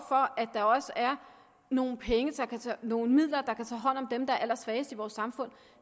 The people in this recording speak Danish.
for at der også er nogle nogle midler der kan tage hånd om dem der er allersvagest i vores samfund